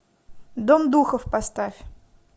дом духов поставь